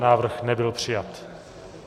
Návrh nebyl přijat.